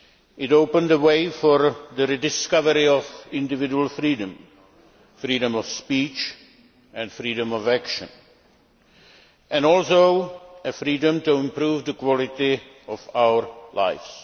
It opened the way for the rediscovery of individual freedom freedom of speech and freedom of action and also freedom to improve the quality of our lives.